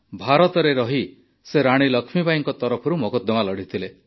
ଭାରତରେ ରହି ସେ ରାଣୀ ଲକ୍ଷ୍ମୀବାଈଙ୍କ ତରଫରୁ ମକଦ୍ଦମା ଲଢ଼ିଥିଲେ